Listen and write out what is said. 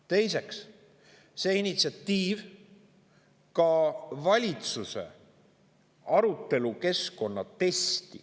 Teiseks, see initsiatiiv ei läbinud ka valitsuse arutelukeskkonna testi.